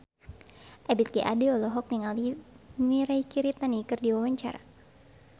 Ebith G. Ade olohok ningali Mirei Kiritani keur diwawancara